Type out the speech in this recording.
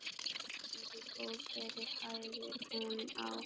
Boðberi, Boðberi, hæðir hún hann.